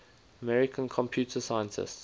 american computer scientists